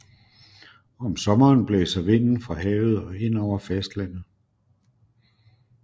Om sommeren blæser vinden fra havet og ind over fastlandet